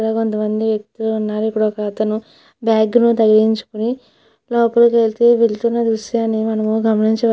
ఇక్కడ కొంతమంది వ్యక్తులు ఉన్నారు. ఇక్కడ ఒక అతను బ్యాగ్ ధరించుకొని లోపలికి వెళుతున్న దృశ్యాన్ని మనం గమనించవచ్చు.